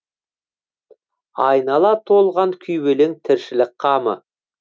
айнала толған күйбелең тіршілік қамы